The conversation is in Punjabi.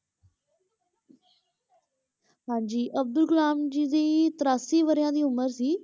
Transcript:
ਹਾਂਜੀ ਅਬਦੁਲ ਕਲਾਮ ਜੀ ਦੀ ਤਰਾਸੀ ਵਰਿਆਂ ਦੀ ਉਮਰ ਸੀ,